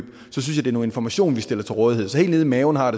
er noget information vi skal stille til rådighed så helt ned i maven har